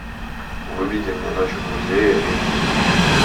выведи мне ночь в музее эйч ди